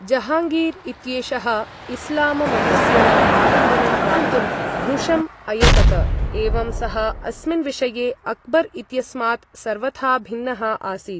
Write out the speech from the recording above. जहांगीर् इत्येषः इस्लाम मतस्य आलम्बनं प्राप्तुं भृशम् अयतत, एवं सः अस्मिन् विषये, अकबर् इत्यस्मात् सर्वथा भिन्नः आसीत्।